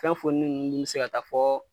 Fɛn fonini nunnu dun bi se ka taa fɔ